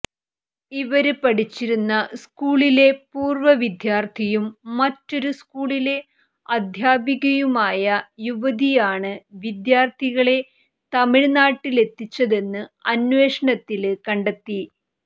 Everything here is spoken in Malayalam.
ഇവര് പഠിച്ചിരുന്ന സ്കൂളിലെ പൂര്വ വിദ്യാര്ത്ഥിയും മറ്റൊരു സ്കൂളിലെ അധ്യാപികയുമായ യുവതിയാണ് വിദ്യാര്ത്ഥികളെ തമിഴ്നാട്ടിലെത്തിച്ചതെന്ന് അന്വേഷണത്തില് കണ്ടെത്തി